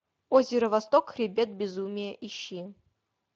озеро восток хребет безумия ищи